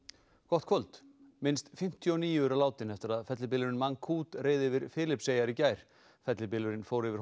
gott kvöld minnst fimmtíu og níu eru látin eftir að fellibylurinn reið yfir Filippseyjar í gær fellibylurinn fór yfir